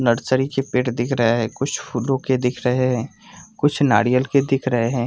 Nursery के पेड़ दिख रहे है कुछ फूलो के दिख रहे है कुछ नारियल के दिख रहे है।